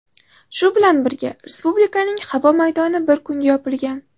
Shu bilan birga, respublikaning havo maydoni bir kunga yopilgan.